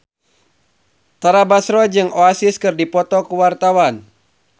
Tara Basro jeung Oasis keur dipoto ku wartawan